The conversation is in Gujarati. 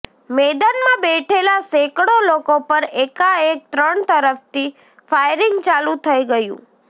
મેદાનમાં બેઠેલાં સેંકડો લોકો પર એકાએક ત્રણ તરફથી ફાયરિંગ ચાલુ થઇ ગયું